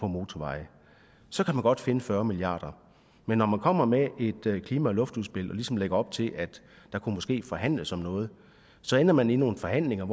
motorveje så kan man godt finde fyrre milliard kr men når man kommer med et klima og luftudspil og ligesom lægger op til at der måske kunne forhandles om noget så ender man i nogle forhandlinger